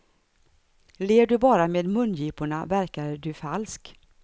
Ler du bara med mungiporna verkar du falsk.